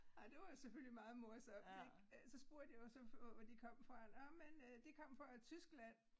Ej det var jo selvfølgelig meget morsomt ik øh så spurgte jeg jo så hvor de kom fra nåh men øh de kom fra Tyskland